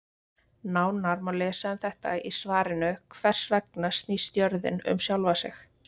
Nánar má lesa um þetta í svarinu Hvers vegna snýst jörðin um sjálfa sig?